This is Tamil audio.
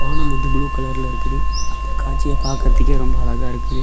வானம் வந்து ப்ளூ கலர்ல இருக்குது அந்த காட்சியை பாக்குறதுக்கே ரொம்ப அழகா இருக்குது.